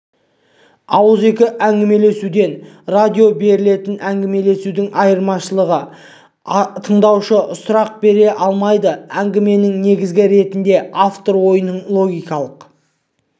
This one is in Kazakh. ауызекі әңгімелесуден радиодан берілетін әңгімелесудің айырмашылығы тыңдаушы сұрақ бере алмайды әңгіменің негізі ретінде автор ойының логикалық